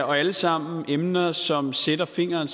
og alle sammen emner som sætter fingeren